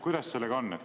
Kuidas sellega on?